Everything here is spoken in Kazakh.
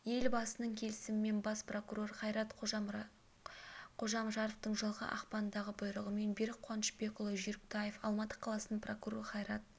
елбасының келісімімен бас прокурор қайрат қожамжаровтың жылғы ақпандағы бұйрығымен берік қуанышбекұлы жүйріктаев алматы қаласының прокуроры қайрат